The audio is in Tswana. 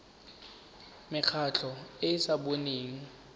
mekgatlho e e sa boneng